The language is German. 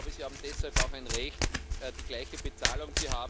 Ich glaube, sie haben deshalb auch ein Recht auf gleiche Bezahlung.